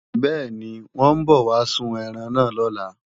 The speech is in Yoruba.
Bẹ́ẹ̀ni, wọ́n ń bọ̀ wá sun ẹran náà lọ́la